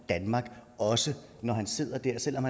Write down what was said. danmark også når han sidder der selv om